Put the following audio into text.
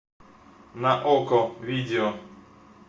на окко видео